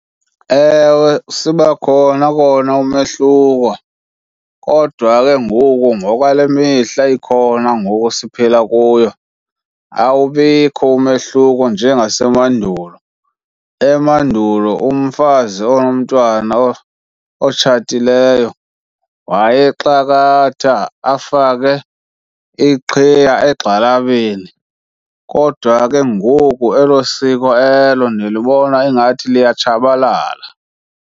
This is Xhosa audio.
Ewe, sibakhona kona umehluko, kodwa ke ngoku ngokwale mihla ikhona ngoku siphila kuyo awubikho umehluko njengasemandulo. Emandulo umfazi onomntwana otshatileyo wayexakatha afake iqhiya egxalabeni, kodwa ke ngoku elo siko elo ndilibona ingathi liyatshabalala.